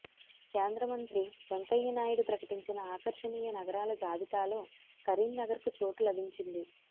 కేంద్రమంత్రి వెంకయ్యనాయుడు ప్రకటించిన ఆకర్షణీయ నగరాల జాబితాలో కరీంనగర్కు చోటు లభించింది